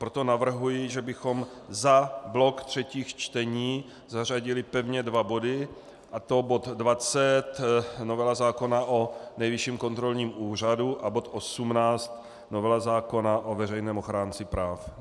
Proto navrhuji, že bychom za blok třetích čtení zařadili pevně dva body, a to bod 20, novela zákona o Nejvyšším kontrolním úřadu, a bod 18, novela zákona o veřejném ochránci práv.